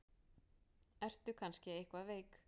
Ertu kannski eitthvað veik?